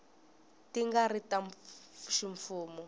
ti nga ri ta ximfumo